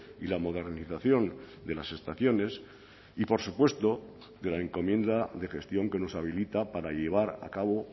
y la modernización de las estaciones y por supuesto de la encomienda de gestión que nos habilita para llevar a cabo